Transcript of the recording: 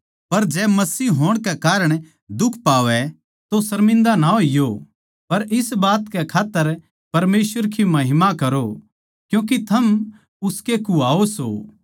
पर जै मसीह होण कै कारण दुख पावै तो शर्मिन्दा ना होईयो पर इस बात कै खात्तर परमेसवर की महिमा करो क्यूँके थम उसके कुह्वाओ सों